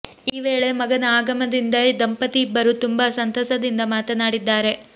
ಈ ವೇಳೆ ಮಗನ ಆಗಮನದಿಂದ ದಂಪತಿ ಇಬ್ಬರೂ ತುಂಬಾ ಸಂತಸದಿಂದ ಮಾತನಾಡಿದ್ದಾರೆ